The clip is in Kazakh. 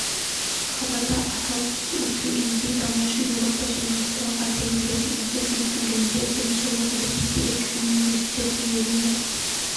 хабарда атап өтілгендей дамушы еуропа және орталық азия елдерінің үздік рейтингінде бірінші орынды ресейлік университет иеленіп